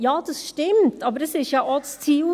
Ja, dies stimmt, aber das war ja auch das Ziel.